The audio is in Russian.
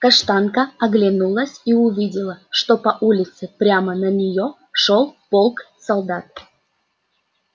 каштанка оглянулась и увидела что по улице прямо на неё шёл полк солдат